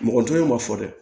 Mɔgɔtu ma fɔ dɛ